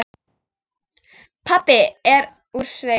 Pabbi er úr sveit.